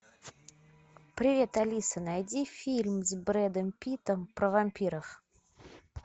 привет алиса найди фильм с брэдом питтом про вампиров